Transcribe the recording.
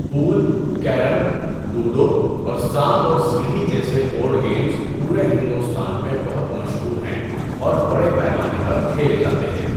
پل، carrom, ludo اور سانپ اور سیڑھی جیسے بورڈ گیمز پورے ہندوستان میں بہت مشہور ہیں اور بڑے پیمانے پر کھیلے جاتے ہیں۔